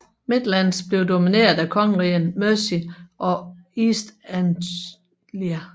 Midlands blev domineret af kongerigerne Mercia og East Anglia